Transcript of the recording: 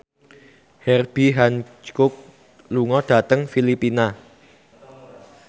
Herbie Hancock lunga dhateng Filipina